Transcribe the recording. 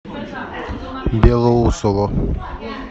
белоусово